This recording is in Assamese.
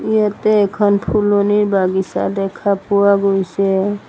ইয়াতে এখন ফুলনিৰ বাগিচা দেখা পোৱা গৈছে।